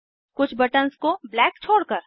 कुछ बटन्स को ब्लैक छोड़कर